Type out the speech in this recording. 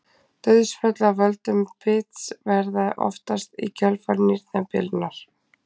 Dauðsföll af völdum bits verða oftast í kjölfar nýrnabilunar.